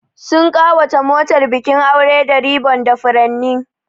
Sun ƙawata motar bikin aure da ribbon da furanni.